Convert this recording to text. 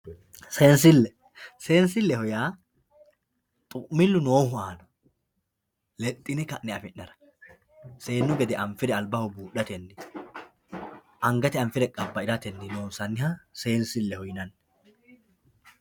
Seensile, seensileho yaa xu'milu noohu aana lexine ka'ne affi'nara seennu gede albaho buudhateni angate anfire qabairateni loonsanniha seensileho yinanni.